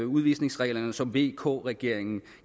udvisningsreglerne som vk regeringen